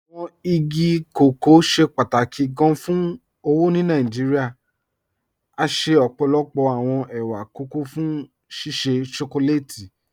Awọn igi kọkọ ṣẹ pátákì gán fún owó ni Nàìjíríà, à ṣẹ ọ́pọ́lọ́pọ̀ awọn è̩wà kọkọ̀ fún ṣíṣẹ́ shọkọlátì.